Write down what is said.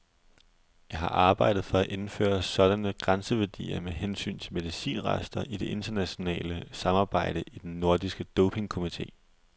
Jeg har arbejdet for at indføre sådanne grænseværdier med hensyn til medicinrester i det internationale samarbejde i den nordiske dopingkomité.